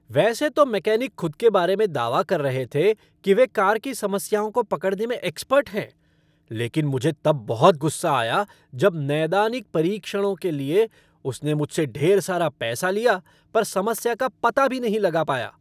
वैसे तो मैकेनिक खुद के बारे में दावा कर रहे थे कि वे कार की समस्याओं को पकड़ने में एक्सपर्ट हैं, लेकिन मुझे तब बहुत गुस्सा आया जब 'नैदानिक परीक्षणों' के लिए उसने मुझसे ढेर सारा पैसा लिया पर समस्या का पता भी नहीं लगा पाया।